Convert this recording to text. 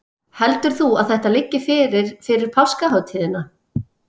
Heldur þú að þetta liggi fyrir fyrir páskahátíðina?